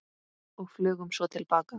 Og flugum svo til baka.